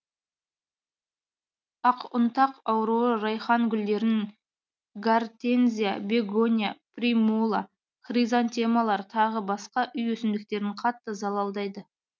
ақұнтақ ауруы райхан гүлдерін гортензия бегония примула хризантемалар тағы басқа үй өсімдіктерін қатты залалдайды